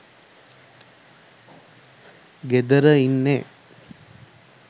ගෙදර ඉන්නෙ